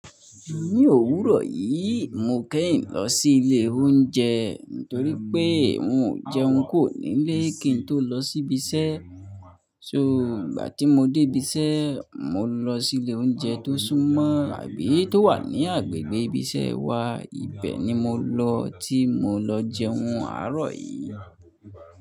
Ní òwúrọ̀ yìí, mo kehin lọ sí ilé oúnjẹ nítorí pé n mi ò jẹun kuo nílé kí n tó lọ sí ibi iṣẹ́. So ìgbà tí mo dé ibi iṣẹ́, mo lọ sí ilé oúnjẹ tó súnmọ́ àbí tó wà ní agbègbè ibi iṣẹ́ wa. Ibẹ̀ ni mo lọ tí mo lọ jẹun àárọ̀ yìí.